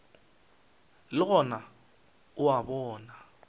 le gona o a bona